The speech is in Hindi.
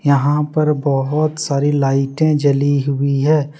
यहां पर बहोत सारी लाइटे जली हुई हैं।